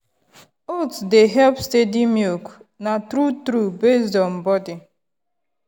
oats dey help steady milk na true true based on body.